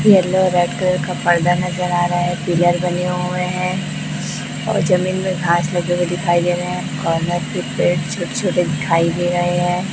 Yellow red colour का पर्दा नजर आ रहा है पिलर बने हुए हैं और जमीन में घास लगे हुए दिखाई दे रही है और उन्नत के पेड़ छोटे छोटे दिखाई दे रहे हैं।